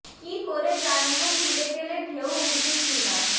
কী করে জানবো ফিরে গেলে ঢেউ উঠবে কি না